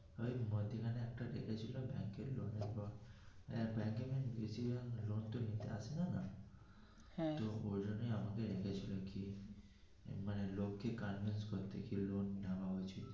ওই মধ্যিখানে একটা ডেকেছিল ব্যাংকের লোক নেবে এর ব্যাংকে বেশি জন লোন তো নিতে আসে না ওই জন্য আমাকে ডেকে ছিল লোকে কাজ বাজ করতে কি রকম টাকা নেওয়া উচিত.